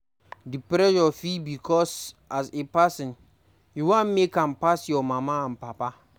Di pressure fit be because as a person, you wan make am pass your papa and mama